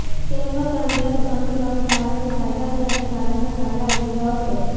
તેમનો સંદર્ભ અનુક્રમે ભારતની આઝાદી અને ભારતના ભાગલા વિશે હતો